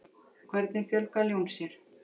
hvernig fjölga ljón sér